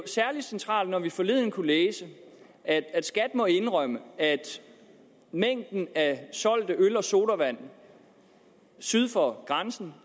særlig centralt når vi forleden kunne læse at skat må indrømme at mængden af solgte øl og sodavand syd for grænsen